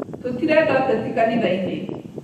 Tũrirenda ũteti kanitha-inĩ